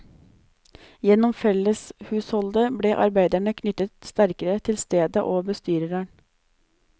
Gjennom felleshusholdet ble arbeiderne knyttet sterkere til stedet og bestyreren.